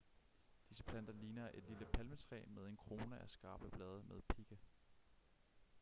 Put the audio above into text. disse planter ligner et lille palmetræ med en krone af skarpe blade med pigge